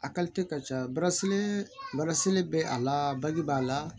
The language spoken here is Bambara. A ka ca bɛ a la baji b'a la